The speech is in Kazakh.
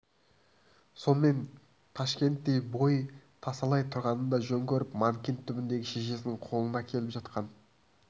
сонымен ташкенттен бой тасалай тұрғанды жөн көріп манкент түбіндегі шешесінің қолына келіп жатқан